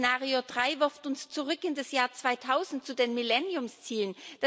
Szenario 3 wirft uns zurück in das Jahr 2000, zu den Millenniumszielen.